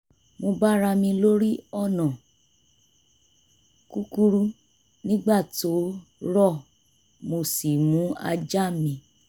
mo bára mi lórí ọ̀nà kúkúrú nígbà tó rọ̀ mo sì mú ajá mi